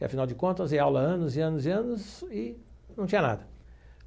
E, afinal de contas, dei aula anos e anos e anos e não tinha nada.